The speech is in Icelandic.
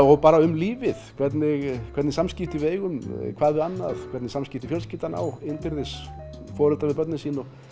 og bara um lífið hvernig hvernig samskipti við eigum hvað við annað hvernig samskipti fjölskyldan á innbyrðis foreldrar við börnin sín og